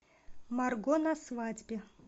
марго на свадьбе